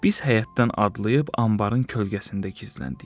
Biz həyətdən adlayıb anbarın kölgəsində gizləndik.